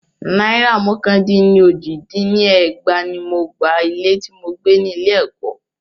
Náìrà mọ́kàn dín ní ójì dín ní ẹgbàá ní mo gba ilé tí mo gbé ni ilé ẹ̀kọ́.